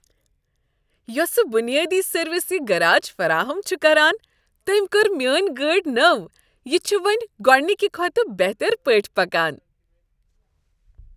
یۄسہٕ بنیٲدی سروس یہ گراج فراہم چھ کران، تٔمۍ کٔر میٲنۍ گٲڑۍ نٔو، یہ چھےٚ وۄنۍ گۄڑنکہ کھۄتہٕ بہترپٲٹھۍ پکان۔